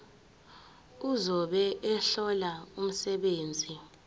ozobe ehlola umsebenzi